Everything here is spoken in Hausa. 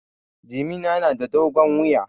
Jimina na da dogon wuya